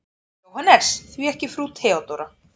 JÓHANNES: Því ekki frú Theodóra?